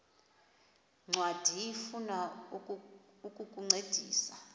ncwadi ifuna ukukuncedisa